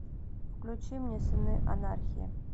включи мне сыны анархии